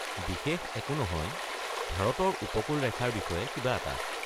বিশেষ একো নহয়, ভাৰতৰ উপকূল ৰেখাৰ বিষয়ে কিবা এটা।